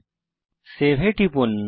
এখন সেভ এ টিপুন